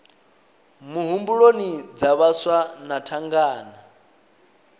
muhumbuloni dza vhaswa na thangana